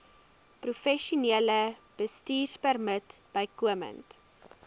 professionele bestuurpermit bykomend